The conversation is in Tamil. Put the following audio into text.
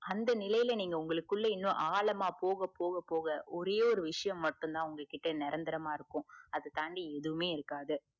அந்த நிலையில நீங்க உங்களுக்குள்ள இன்னு ஆழமா போக போக போக ஒரே ஒரு விஷயம் மட்டும் தான் உங்ககிட்ட நிரந்தரமா இருக்கு அத தாண்டி எதுவுமே இருக்காது